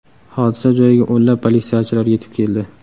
Hodisa joyiga o‘nlab politsiyachilar yetib keldi.